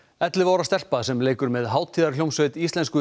ellefu ára stelpa sem leikur með hátíðarhljómsveit íslensku